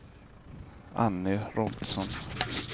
Anny Robertsson